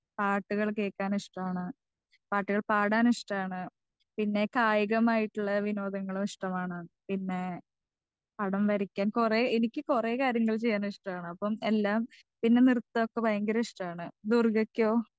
Speaker 2 പാട്ടുകൾ കേക്കാൻ ഇഷ്ട്ടാണ് പാട്ടുകൾ പാടാൻ ഇഷ്ട്ടാണ് പിന്നെ കായികമായിട്ട്ളെ വിനോദങ്ങളും ഇഷ്ട്ടമാണ് പിന്നെ പടം വരക്കാൻ കൊറേ എനിക്ക് കൊറേ കാര്യങ്ങൾ ചെയ്യാൻ ഇഷ്ട്ടാണ് അപ്പൊ എല്ലാം പിന്നെ നൃത്തൊക്കെ ഭയങ്കര ഇഷ്ട്ടാണ്. ദുർഗക്കോ?